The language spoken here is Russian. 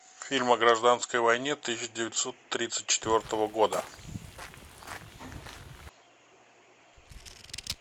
фильм о гражданской войне тысяча девятьсот тридцать четвертого года